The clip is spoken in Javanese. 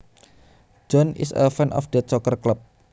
John is a fan of that soccer club